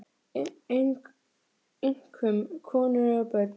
Einkum konur og börn.